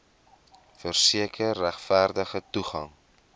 verseker regverdige toegang